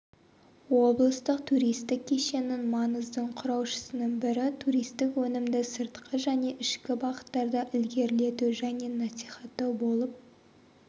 облыстық туристік кешеннің маңыздың құраушысының бірі туристік өнімді сыртқы және ішкі бағыттарда ілгерілету және насихаттау болып